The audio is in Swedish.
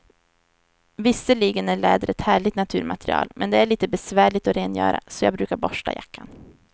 Visserligen är läder ett härligt naturmaterial, men det är lite besvärligt att rengöra, så jag brukar borsta jackan.